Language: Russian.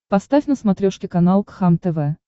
поставь на смотрешке канал кхлм тв